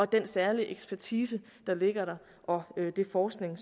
den særlige ekspertise der ligger der og den forskning